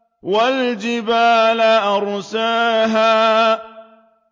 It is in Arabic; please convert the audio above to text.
وَالْجِبَالَ أَرْسَاهَا